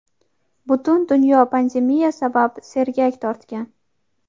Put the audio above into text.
Butun dunyo pandemiya sabab sergak tortgan.